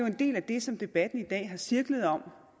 en del af det som debatten i dag har cirklet om